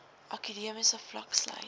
akademiese vlak sluit